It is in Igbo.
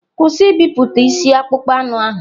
Kwụsị ibipụta isi akpụkpọ anụ ahụ!